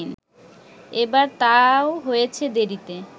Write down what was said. এবার তাও হয়েছে দেরিতে